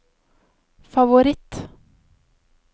favoritt